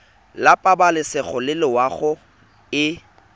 la pabalesego le loago e